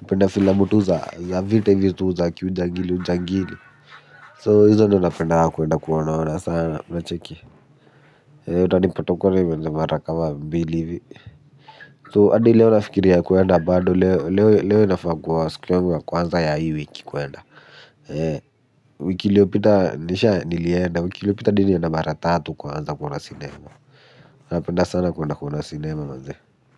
napenda filamu tu za vita hizi tu za kiujangili ujangili. So hizo napendanga kuenda kuona ona sana unacheki uta nipotokori mwenda mara kama mbili hivi. So adi leo nafikiria kwenda bado leo leo leo nafaa kua siku yangu ya kwanza ya hii wiki kwenda. Eeeh wiki ilio pita nisha nilienda wiki ilio pita nilienda mara tatu kwanza kuona sinema napenda sana kwenda kuona sinema manze.